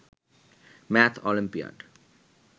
math olympiad